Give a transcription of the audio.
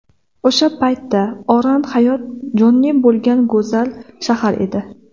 O‘sha paytda Oran hayot jonli bo‘lgan go‘zal shahar edi.